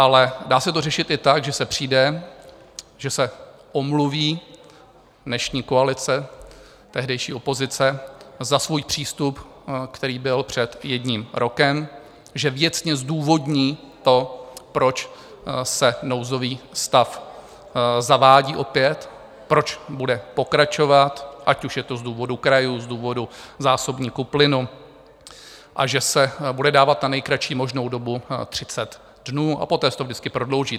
Ale dá se to řešit i tak, že se přijde, že se omluví dnešní koalice, tehdejší opozice, za svůj přístup, který byl před jedním rokem, že věcně zdůvodní to, proč se nouzový stav zavádí opět, proč bude pokračovat, ať už je to z důvodu krajů, z důvodu zásobníků plynu, a že se bude dávat na nejkratší možnou dobu 30 dnů a poté se to vždycky prodlouží.